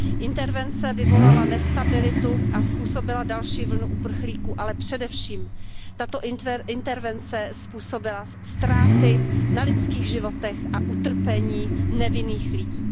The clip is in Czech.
Intervence vyvolala nestabilitu a způsobila další vlnu uprchlíků, ale především tato intervence způsobila ztráty na lidských životech a utrpení nevinných lidí.